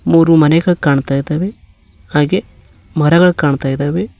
ಮೂರು ಮನೆಗಳು ಕಾಣ್ತಾ ಇದ್ದಾವೆ ಹಾಗೆ ಮರಗಳು ಕಾಣ್ತಾ ಇದ್ದಾವೆ.